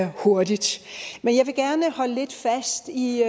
hurtigt men jeg vil gerne holde lidt fast i